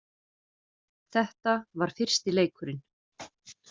Þetta var fyrsti leikurinn